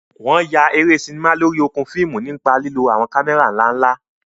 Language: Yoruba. Wọn yà eré sinimá lórí okùn fíìmù nípa lílo àwọn kámẹ́rà ńlá ńlá.